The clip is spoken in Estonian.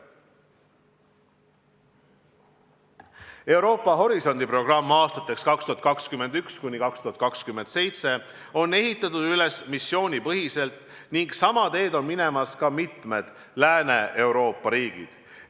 Euroopa Horisondi programm aastateks 2021–2027 on ehitatud üles missioonipõhiselt ning sama teed on minemas ka mitmed Lääne-Euroopa riigid.